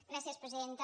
gràcies presidenta